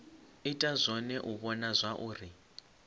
ita zwone u vhona zwauri